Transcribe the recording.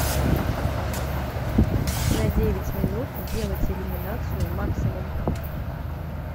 на девять минут сделать иллюминацию максимум